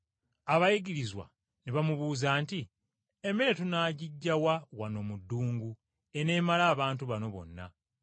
Abayigirizwa ne bamubuuza nti, “Emigaati tunaagiggya wa wano mu ddungu eginaamala abantu bano bonna?”